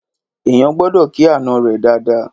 eyan gbọdọ kì àná rè Dàda